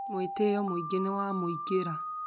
Mwĩtĩo mũingĩ nĩ wamuingira